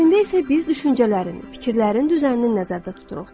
Əslində isə biz düşüncələrin, fikirlərin düzənini nəzərdə tuturuq.